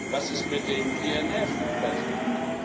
Was ist mit den INF Verträgen?